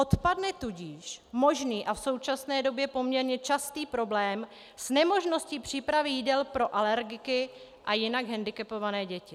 Odpadne tudíž možný a v současné době poměrně častý problém s nemožností přípravy jídel pro alergiky a jinak hendikepované děti.